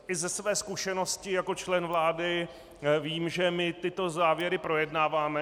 I ze své zkušenosti jako člen vlády vím, že my tyto závěry projednáváme.